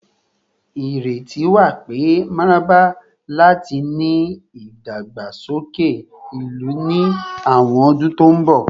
Ireti wa pe mararaba lati ni idagbasoke ilu ni awọn ọdun to nbọ